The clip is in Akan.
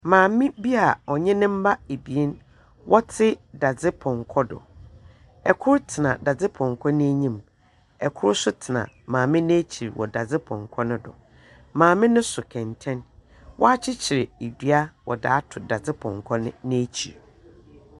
Maame bi a ɔnye ne mba ebien wɔtse dadzepɔnkɔ. Kor tsena dadzepɔnkɔ n’enyim na kor so tsena maame n’ekyir dadzepɔnkɔ no do. Maame no so kɛntɛn, wɔakyekyer dua wɔdze ato dadzepɔnkɔ no ekyir.